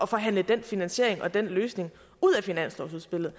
forhandle den finansiering og den løsning ud af finanslovsudspillet